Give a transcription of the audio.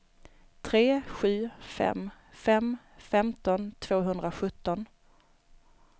tre sju fem fem femton tvåhundrasjutton